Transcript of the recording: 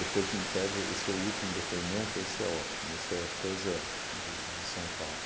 Depois me pede, esse é o último depoimento, esse é ótimo, isso é coisa de de São Paulo.